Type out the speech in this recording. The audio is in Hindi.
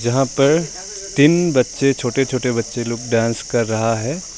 यहां पर तीन बच्चे छोटे छोटे बच्चे लोग डांस कर रहा है।